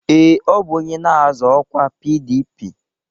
Ee, ọ bụ onye na-azọ ọkwa PDP